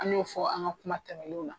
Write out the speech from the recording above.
An y'o fɔ an ka kuma tɛmɛnnenw na.